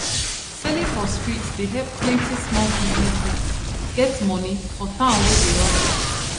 selling for street dey help plenty small business people get money for town wey dey hustle